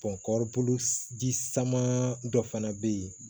kɔɔri ji saman dɔ fana bɛ yen